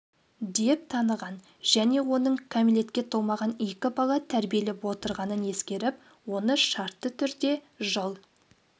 деп таныған және оның кәмелетке толмаған екі бала тәрбиелеп отырғанын ескеріп оны шартты түрде жыл